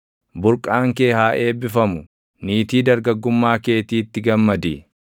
Burqaan kee haa eebbifamu; niitii dargaggummaa keetiitti gammadi.